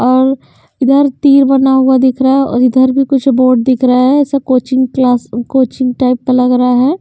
और इधर तीर बना हुआ दिख रहा है और इधर भी कुछ बोर्ड दिख रहा है ऐसा कोचिंग क्लास कोचिंग टाइप का लग रहा है।